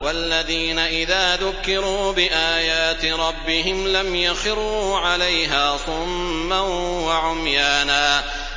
وَالَّذِينَ إِذَا ذُكِّرُوا بِآيَاتِ رَبِّهِمْ لَمْ يَخِرُّوا عَلَيْهَا صُمًّا وَعُمْيَانًا